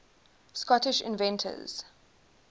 scottish inventors